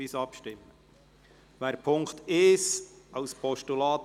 Wir stimmen einzelnen über die Ziffern ab.